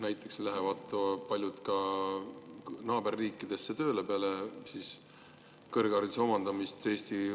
Näiteks lähevad paljud peale kõrghariduse omandamist Eesti riigi arvel naaberriikidesse tööle.